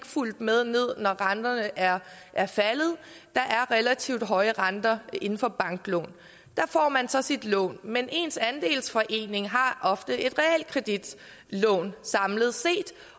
fulgt med ned når renterne er er faldet der er relativt høje renter inden for banklån der får man så sit lån men ens andelsforening har ofte et realkreditlån samlet set